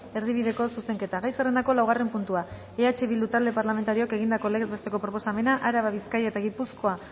erdibideko zuzenketa gai zerrendako laugarren puntua eh bildu talde parlamentarioak egindako legez besteko proposamena araba bizkaia eta gipuzkoa